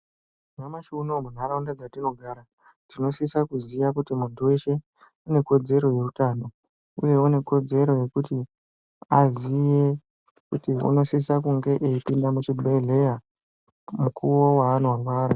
Nyamashi unowu munharaunda dzatinogara tinosisa kuziya kuti muntu weshe une kodzero yeutano uye une kodzero yekuti aziye kuti unosisa kunge eipinda muzvibhedhleya mukuwo waanorwara.